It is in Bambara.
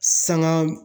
Sanga